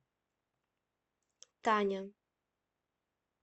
таня